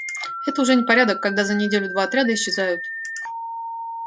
это уже непорядок когда за неделю два отряда исчезают